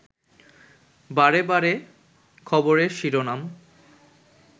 বারেবারে খবরের শিরোনাম